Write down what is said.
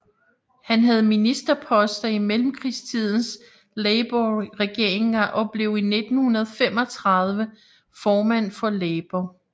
Han havde ministerposter i mellemkrigstidens labourregeringer og blev i 1935 formand for Labour